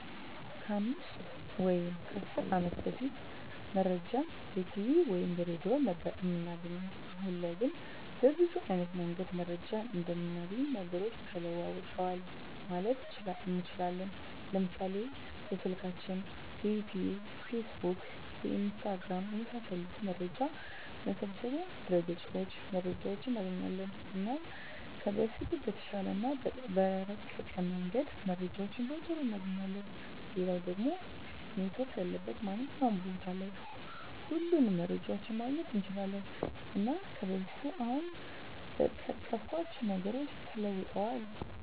ከ 5 ወይም 10 አመት በፊት መረጃን በቲቪ ወይም በሬድዮ ነበር እምናገኘዉ። አሁን ላይ ግን በብዙ አይነት መንገድ መረጃን እምናገኝባቸዉ ነገሮች ተለዉጠዋል ማለት እንችላለን፤ ለምሳሌ፦ በስልካችን፣ በዩቱዩብ፣ በፌስቡክ፣ በኢንስታግራም፣ የመሳሰሉት መረጃ መሰብሰቢያ ድረገፆች መረጃዎችን እናገኛለን። እና ከበፊቱ በተሻለ እና በረቀቀ መንገድ መረጃዎችን በቶሎ እናገኛለን፣ ሌላኛዉ ደሞ ኔትዎርክ ያለበት ማንኛዉም ቦታ ላይ ሁሉንም መረጃዎችን ማግኘት እንችላለን። እና ከበፊቱ አሁን በጠቀስኳቸዉ ነገሮች ተለዉጧል።